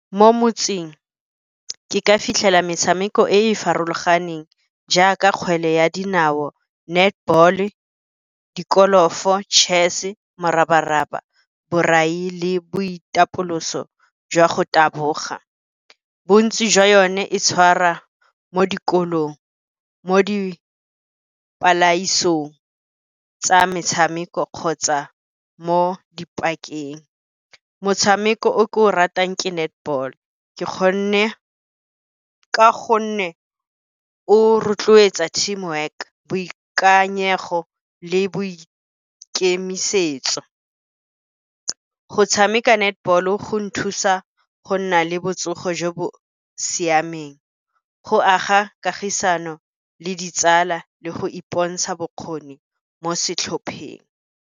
Mo motseng ke ka fitlhela metshameko e e farologaneng jaaka kgwele ya dinao netball-e, di-golf-o, chess, morabaraba, borai le boitapoloso jwa go taboga. Bontsi jwa yone e tshwara mo dikolong mo tsa metshameko kgotsa mo dipakeng. Motshameko o ke o ratang ke netball ka gonne, o rotloetsa team work, boikanyego le boikemisetso. Go tshameka netball o go nthusa go nna le botsogo jo bo siameng, go aga kagisano le ditsala le go ipontsha bokgoni mo setlhopheng.